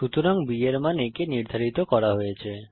সুতরাং b এর মান a কে নির্ধারিত করা হয়েছে